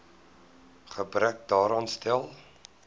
gebrek daaraan stel